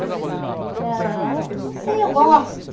para... Não sei, eu gosto.